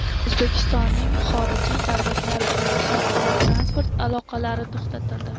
O‘zbekistonning xorijiy davlatlar bilan xalqaro transport aloqalari to‘xtatildi .